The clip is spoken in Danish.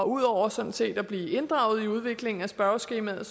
ud over sådan set at blive inddraget i udviklingen af spørgeskemaet